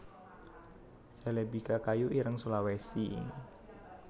celebica kayu ireng Sulawesi